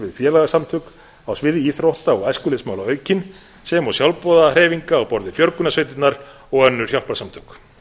við félagasamtök á sviði íþrótta og æskulýðsmála aukinn sem og sjálfboðahreyfinga á borð við björgunarsveitirnar og önnur hjálparsamtök